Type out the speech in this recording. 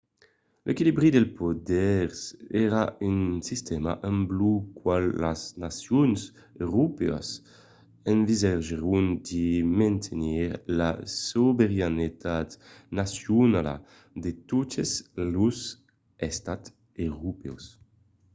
l'equilibri dels poders èra un sistèma amb lo qual las nacions europèas ensagèron de mantenir la sobeiranetat nacionala de totes los estats europèus